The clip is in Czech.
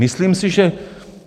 Myslím si, že...